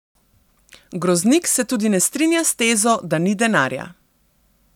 Groznik se tudi ne strinja s tezo, da ni denarja.